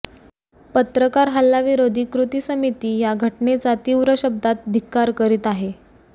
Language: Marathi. पत्रकार हल्ला विरोधी कृती समिती या घटनेचा तीव्र शब्दात धिक्कार करीत आहे